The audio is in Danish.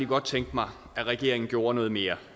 godt tænke mig at regeringen gjorde noget mere